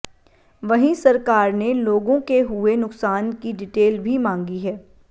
वहीं सरकार ने लोगों के हुए नुकसान की डिटेल भी मांगी है